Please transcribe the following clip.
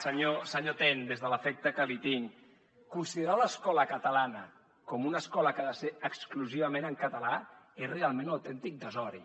senyor ten des de l’afecte que li tinc considerar l’escola catalana com una escola que ha de ser exclusivament en català és realment un autèntic desori